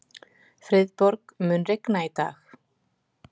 Friðborg, mun rigna í dag?